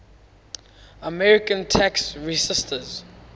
american tax resisters